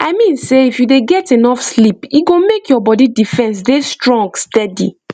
i mean sey if you dey get enough sleep e go make your body defence dey strong steady